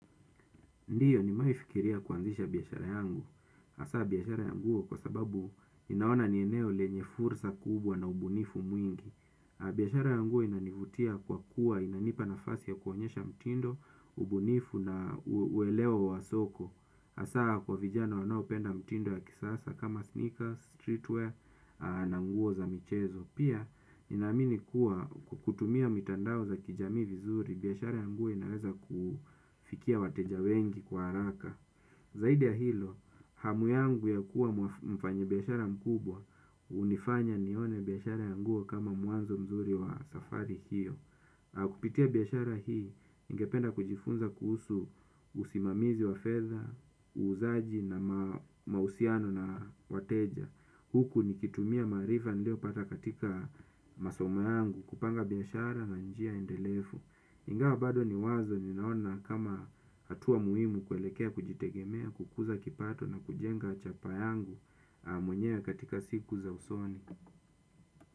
Ndiyo nimewaifikiria kuanzisha biashara yangu. Hasaa biashara ya nguo kwa sababu ninaona ni eneo lenye fursa kubwa na ubunifu mwingi. Biashara yangu inanivutia kwa kuwa inanipa nafasi ya kuonyesha mtindo, ubunifu na uelewa wa soko. Hasaa kwa vijana wanaopenda mtindo ya kisasa kama sneaker, streetwear, na nguo za michezo. Pia, ninaamini kuwa kutumia mitandao za kijamii vizuri, biashara ya nguo inaweza kufikia wateja wengi kwa haraka. Zaidi ya hilo, hamu yangu ya kuwa mfanyi biashara mkubwa, hunifanya nione biashara ya nguo kama mwanzo mzuri wa safari hiyo. Na kupitia biashara hii, ningependa kujifunza kuhusu usimamizi wa fedha, uuzaji na mahusiano na wateja. Huku nikitumia maarifa nilio pata katika masomo yangu kupanga biashara na njia endelefu. Ingawa bado ni wazo ninaona kama hatua muhimu kuelekea kujitegemea kukuza kipato na kujenga chapaa yangu mwenyewe katika siku za usoni.